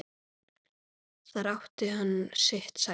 Þar átti hann sitt sæti.